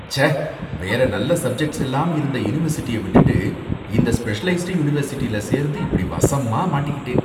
ச்சே வேற நல்ல சப்ஜெக்ட்ஸ் எல்லாம் இருந்த யுனிவெர்சிட்டிய விட்டுட்டு இந்த ஸ்பெஷலைஸ்டு யுனிவர்சிட்டில சேர்ந்து இப்படி வசமா மாட்டிக்கிட்டேன்